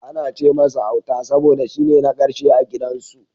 Ana ce masa Auta saboda shine na karshe a gidan su.